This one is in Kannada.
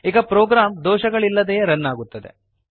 ಈಗ ಪ್ರೋಗ್ರಾಂ ದೋಷಗಳಿಲ್ಲದೆಯೇ ರನ್ ಆಗುತ್ತದೆ